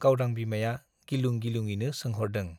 गावदां बिमाया गिलुं गिलुंयैनो सोंहरदों।